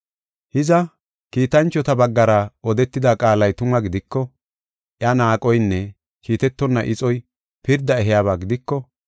Hiza, kiitanchota baggara odetida qaalay tuma gidiko, iya naaqoynne kiitetonna ixoy pirda ehiyaba gidiko,